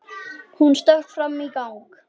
Hún stökk fram í gang.